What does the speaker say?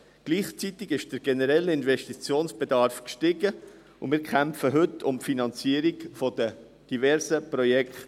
Gleichzeitig stieg der generelle Investitionsbedarf, und wir kämpfen heute um die Finanzierung der diversen Projekte.